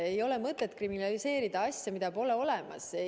Ei ole mõtet kriminaliseerida asja, mida pole olemas.